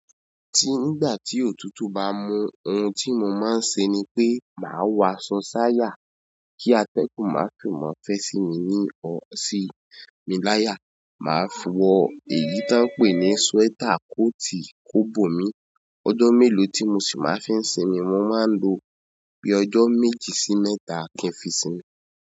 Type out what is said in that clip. Tí nígbà tí òtútù bá mú, ohun tí mo máa ń ṣe ni pé màá wọ asọ sayà kí atẹ́gùn má fò mọ́ fẹ́ sí mi ní sí. Mi láya, màá fọ̀ ẹyi tó ń pè ní sweater coat kó bò mí. Ọjọ́ mélòó tí mo sì máa ń fi ń sinmi, mo máa ń lo bíi ọjọ́ méjì sí mẹ́ta kí n fi sinmi.